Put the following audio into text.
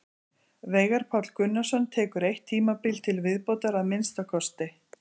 Veigar Páll Gunnarsson tekur eitt tímabil til viðbótar að minnsta kosti.